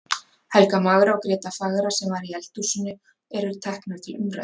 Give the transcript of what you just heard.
Helga magra og Gréta fagra, sem var í eldhúsinu, eru teknar til umræðu.